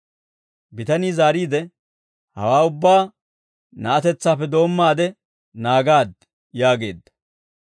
Bitanii zaariide, «Hawaa ubbaa, na'atetsaappe doommaade naagaad» yaageedda.